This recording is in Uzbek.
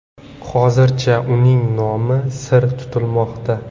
Hozircha uning nomi sir tutilmoqda.